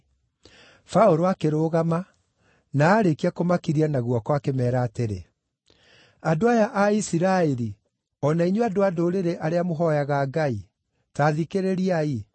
Paũlũ akĩrũgama, na aarĩkia kũmakiria na guoko akĩmeera atĩrĩ: “Andũ aya a Isiraeli o na inyuĩ andũ-a-Ndũrĩrĩ arĩa mũhooyaga Ngai, ta thikĩrĩriai!